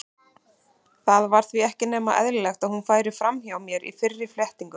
Það var því ekki nema eðlilegt að hún færi fram hjá mér í fyrri flettingum.